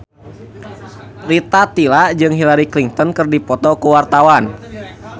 Rita Tila jeung Hillary Clinton keur dipoto ku wartawan